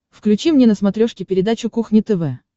включи мне на смотрешке передачу кухня тв